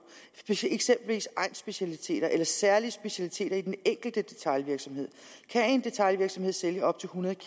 eksempelvis egnsspecialiteter eller særlige specialiteter i den enkelte detailvirksomhed kan en detailvirksomhed sælge op til hundrede